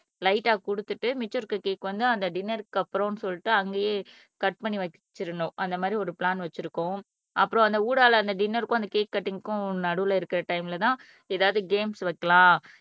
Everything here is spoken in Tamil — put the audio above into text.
லைட்டா கொடுத்துட்டு மிச்சம் இருக்கிற கேக் வந்து அந்த டின்னர்க்கு அப்புறம்ன்னு சொல்லிட்டு அங்கேயே கட் பண்ணி வச்சிரணும் அந்த மாதிரி ஒரு பிளான் வச்சிருக்கோம் அப்புறம் அந்த ஊடால அந்த டின்னர்க்கும் அந்த கேக் கட்டிங்க்கும் நடுவுல இருக்கிற டைம்லதான் ஏதாவது கேம்ஸ் வைக்கலாம்